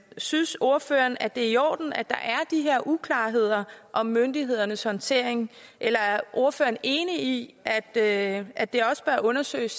synes ordføreren at det er i orden at der er de her uklarheder om myndighedernes håndtering eller er ordføreren enig i at at det også bør undersøges